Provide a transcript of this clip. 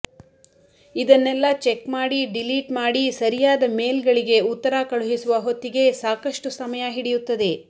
ಇದನ್ನೆಲ್ಲಾ ಚೆಕ್ ಮಾಡಿ ಡಿಲೀಟ್ ಮಾಡಿ ಸರಿಯಾದ ಮೇಲ್ ಗಳಿಗೆ ಉತ್ತರ ಕಳುಹಿಸುವ ಹೊತ್ತಿಗೆ ಸಾಕಷ್ಟು ಸಮಯ ಹಿಡಿಯುತ್ತದೆ